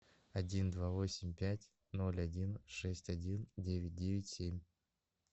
один два восемь пять ноль один шесть один девять девять семь